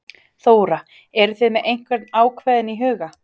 Þóra: Eruð þið með einhvern ákveðinn í huga?